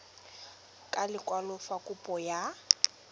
ka lekwalo fa kopo ya